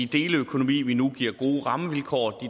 deleøkonomi vi nu giver gode rammevilkår og